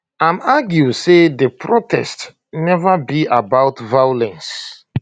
im argue say di protest neva be about violence